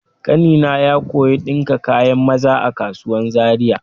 Ƙanina ya koya ɗinka kayan maza a kasuwan Zariya.